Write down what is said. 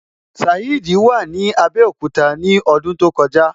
Saheed wà ní Abẹ́òkúta ní ọdún tó kọjá.